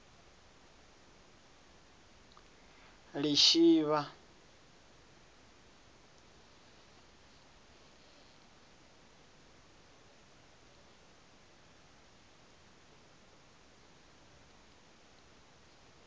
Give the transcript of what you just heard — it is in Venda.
lishivha